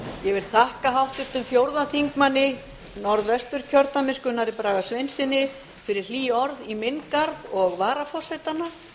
ég vil þakka háttvirtum fjórði þingmaður norðvesturkjördæmis gunnari braga sveinssyni fyrir hlý orð í minn garð og varaforsetanna